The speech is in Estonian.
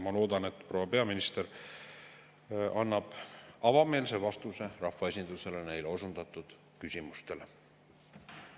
Ma loodan, et proua peaminister annab rahvaesindusele avameelse vastuse neile küsimustele.